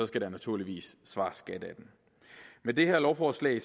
skal der naturligvis svares skat af den med det her lovforslag